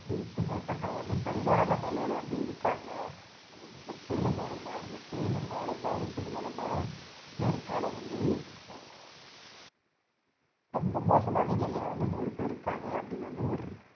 நூறுக்கும் மேற்பட்டவங்க அந்து பரிதாப நிலையில இருக்காங்க அதாவது இந்த புயல் மூலமா இந்த புயலின் பாதிப்பு மூலமா அமெரிக்கால வந்து அஹ் ரொம்ப மோசமான நியையில வந்து நூறு பேரு இருக்காங்க அப்படின்னு வந்து ஒரு